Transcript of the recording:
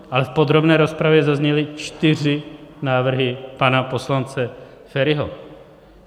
Ale v podrobné rozpravě zazněly čtyři návrhy pana poslance Feriho.